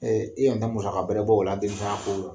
i musaka bɛrɛ bɔ o la den tanya kɔ